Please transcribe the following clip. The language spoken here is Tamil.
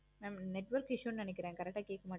mam network issue நினைக்கிறன் correct கேட்க மாட்டிக்குது